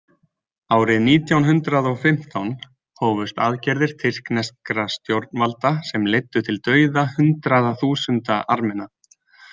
Árið nítján hundrað og fimmtán hófust aðgerðir tyrkneskra stjórnvalda sem leiddu til dauða hundraða þúsunda Armena.